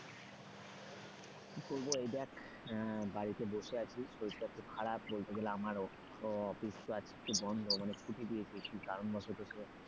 কি করবো এই দেখ বাড়িতে বসে আছি শরীরটা খুব খারাপ বলতে গেলে আমারও office তো আজকে বন্ধ মানে ছুটি দিয়েছি কি কারণ বশত,